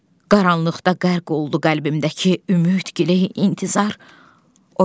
Qaranlıqda qərq oldu qəlbimdəki ümid, giley, intizar, o gəlmədi.